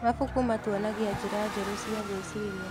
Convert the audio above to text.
Mabuku matuonagia njĩra njerũ cia gwĩciria.